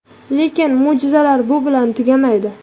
Lekin mo‘jizalar bu bilan tugamaydi.